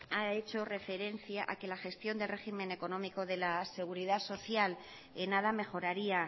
ha hecho referencia a que la gestión del régimen económico de la seguridad social en nada mejoraría